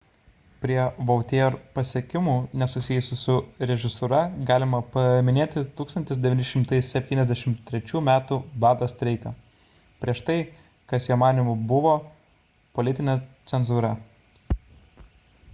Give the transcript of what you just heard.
prie vautier pasiekimų nesusijusių su režisūra galima paminėti 1973 m bado streiką prieš tai kas jo manymu buvo politinė cenzūra